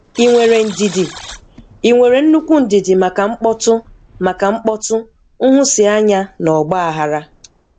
Ị nwere ndidi? Ị nwere nnukwu ndidi maka mkpọtụ, maka mkpọtụ, nhụsianya, na ọgba-aghara?